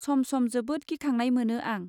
सम सम जोबोद गिखांनाय मोनो आं